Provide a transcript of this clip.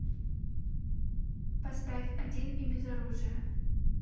поставь один и без оружия